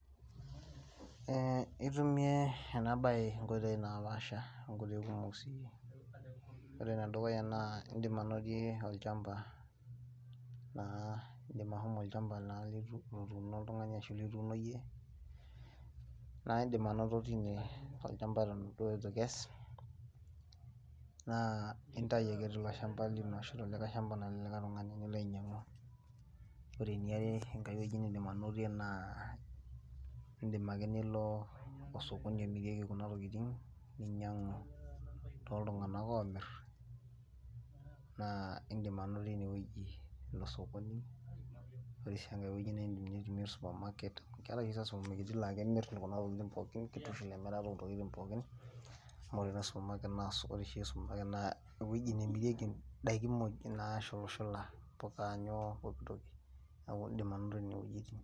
Eeh , itumie enaabaye inkoitoi naapasha inkoitoi kumuk sii. Wore enedukuyia naa idim anotie olchampa naa idim ashomo olchampa naa lootuno oltungani ashu kituuno iye , naa idim anoto tine toolchampa eton duo itu ikes. Naa intayu ake tilo shampa lino ashu telikai shampa lelikai tungani ,nilo ainyangu. Wore eniare enkaiweji nidim anotie naa idim ake nilo osokoni imirieki kuna tokiting ninyangu too iltunganak oomir , naa idim anotie ineweji osokoni. Wore sii engai weji naa idim nitumie oosupermarket , keetai isupermaketi laa kemirr kuna tokiting pookin ,kitushul emirata ookuna tokiting pookin amu wore oosupermarket naa eweji nemirieki indaiki muuj nashulshula mpuka nyoo pookitoki niaku idim anotie nenewejiti.